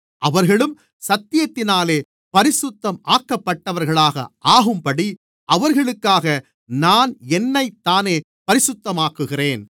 அவர்களும் சத்தியத்தினாலே பரிசுத்தம் ஆக்கப்பட்டவர்களாக ஆகும்படி அவர்களுக்காக நான் என்னைத்தானே பரிசுத்தமாக்குகிறேன்